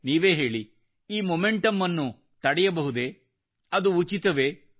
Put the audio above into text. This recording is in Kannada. ನೀವೇ ಹೇಳಿ ಈ ಮೊಮೆಂಟಮ್ ತಡೆಯಬಹುದೆ ಅದು ಉಚಿತವೇ